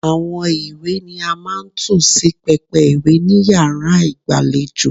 Àwọn ìwé ni a máa ń tò sí pẹpẹ ìwé ni yàrá ìgbàlejò.